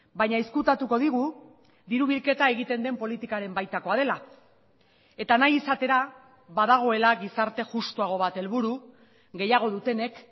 baina ezkutatuko digu diru bilketa egiten den politikaren baitakoa dela eta nahi izatera badagoela gizarte justuago bat helburu gehiago dutenek